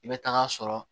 I bɛ taga sɔrɔ